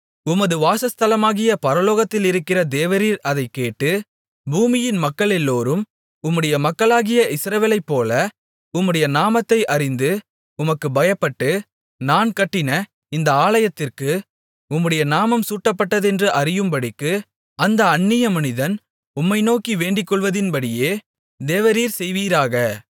உமது வாசஸ்தலமாகிய பரலோகத்திலிருக்கிற தேவரீர் அதைக்கேட்டு பூமியின் மக்களெல்லோரும் உம்முடைய மக்களாகிய இஸ்ரவேலைப்போல உம்முடைய நாமத்தை அறிந்து உமக்கு பயப்பட்டு நான் கட்டின இந்த ஆலயத்திற்கு உம்முடைய நாமம் சூட்டப்பட்டதென்று அறியும்படிக்கு அந்த அந்நிய மனிதன் உம்மை நோக்கி வேண்டிக்கொள்வதின்படியே தேவரீர் செய்வீராக